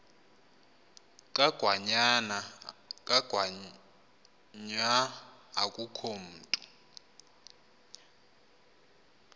kangwanya akukho mntu